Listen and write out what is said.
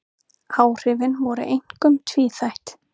Áhrifin voru einkum tvíþætt